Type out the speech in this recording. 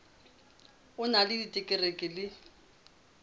o na le diterekere le